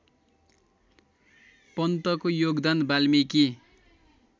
पन्तको योगदान वाल्मीकि